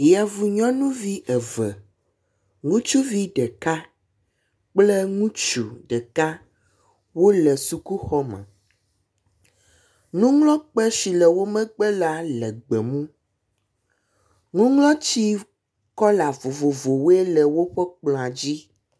Yevu nyɔnuvi eve ŋutsuvi ɖeka kple ŋutsu ɖeka wo le sukuxɔme. Nuŋlɔkpe si le wo megbe la le gbemu. Nuŋlɔtsi kɔla vovovowoe le woƒe kplɔa dzi.